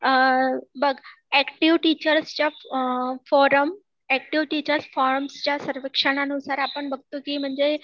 बघ, active teachers च्या forum, active teachers forums च्या सर्वेक्षणा नुसार आपण बघतो की म्हणजे